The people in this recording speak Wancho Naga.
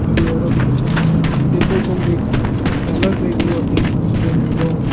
khu a aram nyem taiga te kawphang te colot mai kaloe taipu khu nyem taiga--